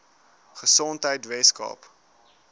gesondheidweskaap